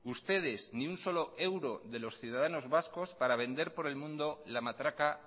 ustedes ni un solo euro de los ciudadanos vascos para vender por el mundo la matraca